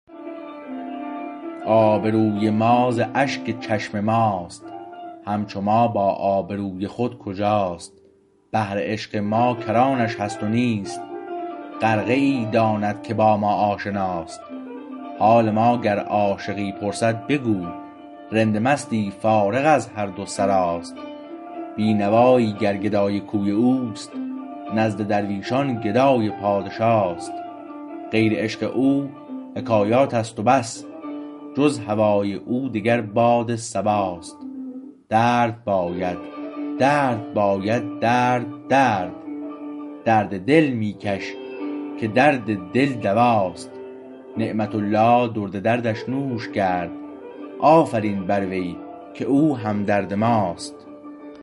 آبروی ما ز اشک چشم ماست همچو ما با آبروی خود کجاست بحر عشق ما کرانش هست نیست غرقه ای داند که با ما آشناست حال ما گر عاشقی پرسد بگو رند مستی فارغ از هر دو سراست بینوایی گر گدای کوی اوست نزد درویشان گدای پادشاست غیر عشق او حکایاتست و بس جز هوای او دگر باد صبا است درد باید درد باید درد درد درد دل می کش که درد دل دواست نعمت الله درد دردش نوش کرد آفرین بر وی که او همدرد ماست